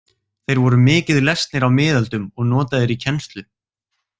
Þeir voru mikið lesnir á miðöldum og notaðir í kennslu.